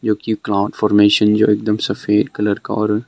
जो कि ground formation जो एकदम सफेद कलर का और--